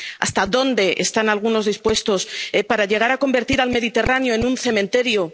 ¿Hasta dónde están algunos dispuestos a llegar para convertir al Mediterráneo en un cementerio?